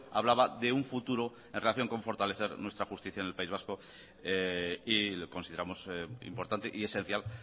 hablaba de un futuro en relación con fortalecer nuestra justicia en el país vasco y consideramos importante y esencial